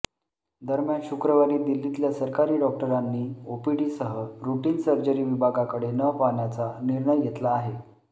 दरम्यान शुक्रवारी दिल्लीतल्या सरकारी डॉक्टरांनी ओपीडीसह रुटीन सर्जरी विभागाकडे न पाहण्याचा निर्णय घेतला आहे